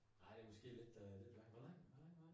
Nej det måske lidt øh lidt lang hvor lang hvor lang var den?